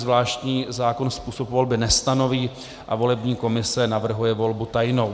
Zvláštní zákon způsob volby nestanoví a volební komise navrhuje volbu tajnou.